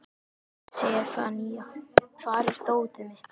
Sefanía, hvar er dótið mitt?